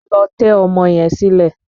Lọ tẹ́ ọmọ yẹn sílẹ́!